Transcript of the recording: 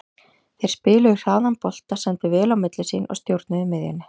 Þeir spiluðu hraðan bolta, sendu vel á milli sín og stjórnuðu miðjunni.